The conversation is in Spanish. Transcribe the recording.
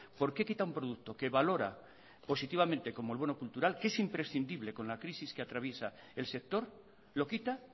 porqué quita un producto que valora positivamente como el bono cultural que es imprescindible con la crisis que atraviesa el sector lo quita